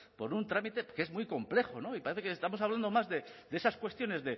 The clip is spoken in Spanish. por un trámite que es muy complejo y parece que estamos hablando más de esas cuestiones